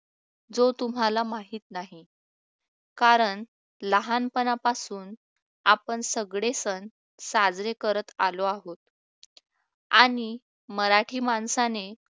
जो तुम्हाला माहित नाही कारण लहानपणापासून आपण सगळे सण साजरे करत आलो आहोत आणि मराठी माणसाने